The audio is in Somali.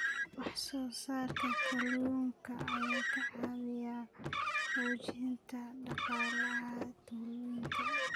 Wax soo saarka kalluunka ayaa ka caawiya xoojinta dhaqaalaha tuulooyinka.